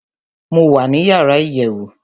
mo wà ní yàrá iyèwù